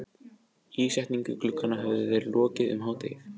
Ísetningu glugganna höfðu þeir lokið um hádegið.